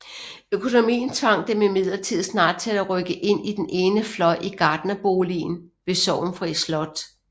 Økonomien tvang dem imidlertid snart til at rykke ind i den ene fløj i gartnerboligen ved Sorgenfri Slot